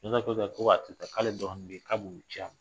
k'ale dɔgɔnin bɛ yi k'a b'o ci a ma.